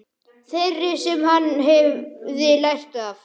Þeirri sem hann hefði lært af.